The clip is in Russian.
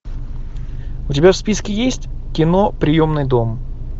у тебя в списке есть кино приемный дом